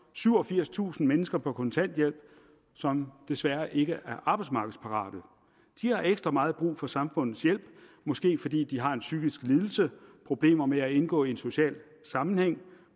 syvogfirstusind mennesker på kontanthjælp som desværre ikke er arbejdsmarkedsparate de har ekstra meget brug for samfundets hjælp måske fordi de har en psykisk lidelse problemer med at indgå i en social sammenhæng